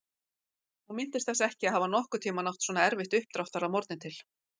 Hún minntist þess ekki að hafa nokkurn tímann átt svona erfitt uppdráttar að morgni til.